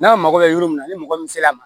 N'a mago bɛ yɔrɔ min na ni mɔgɔ min sela a ma